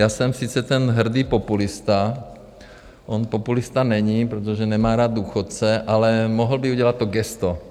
Já jsem sice ten hrdý populista, on populista není, protože nemá rád důchodce, ale mohl by udělat to gesto.